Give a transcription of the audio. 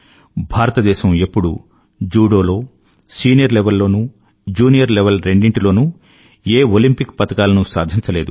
భారతదేశం ఎప్పుడూ జూడో లో సీనియర్ లెవెల్ లోనూ జూనియర్ లెవెల్ రెండింటిలోనూ ఏ ఒలెంపిక్ పతకాలనూ సాధించలేదు